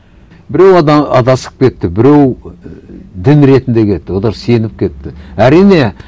біреу адасып кетті біреу ііі дін ретінде кетті олар сеніп кетті әрине